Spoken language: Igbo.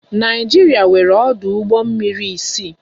Naịjiria nwéré ọdụ ụgbọ mmiri isii